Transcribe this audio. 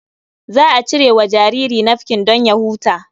Za a iya cire wa jariri nafkin don ya huta.